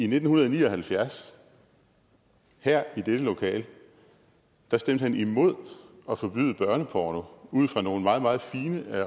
nitten ni og halvfjerds her i dette lokale stemte han imod at forbyde børneporno ud fra nogle meget meget fine